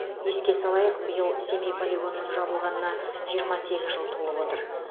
еске салайық биыл семей полигонының жабылғанына жиырма сегіз жыл толып отыр